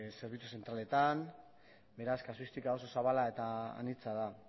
zerbitzu zentraletan beraz kausistika oso zabala eta anitza da